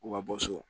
U ka bɔ so